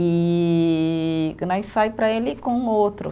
E né, e sai para ele com outro.